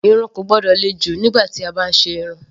Irun kò gbọ́dọ̀ le jù nígbà tí a bá ń ṣe irun.